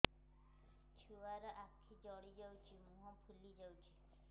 ଛୁଆର ଆଖି ଜଡ଼ି ଯାଉଛି ମୁହଁ ଫୁଲି ଯାଇଛି